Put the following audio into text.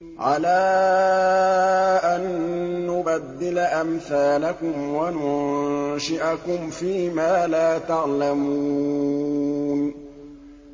عَلَىٰ أَن نُّبَدِّلَ أَمْثَالَكُمْ وَنُنشِئَكُمْ فِي مَا لَا تَعْلَمُونَ